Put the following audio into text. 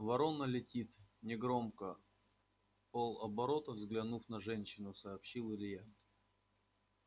ворона летит негромко вполоборота взглянув на женщину сообщил илья